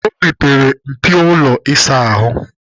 O mepere mpio ụlọ ịsa ahụ.